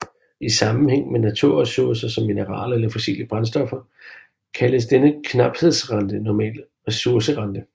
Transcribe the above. I sammenhæng med naturresurser som mineraler eller fossile brændstoffer kaldes denne knaphedsrente normalt resurserente